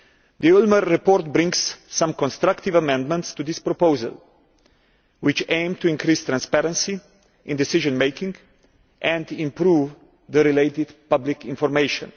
The Ulmer report brings some constructive amendments to this proposal, which aim to increase transparency in decision making and improve the related public information.